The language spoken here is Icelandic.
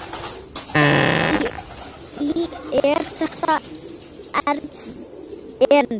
Þar í er þetta erindi